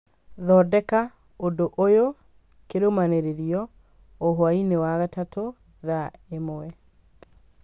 thondeka ũndũ ũyũ kĩrũmanĩrĩrio o hwaĩ-inĩ wa gatatũ, thaa ĩmwe